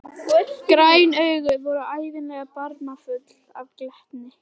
Græn augun voru ævinlega barmafull af glettni.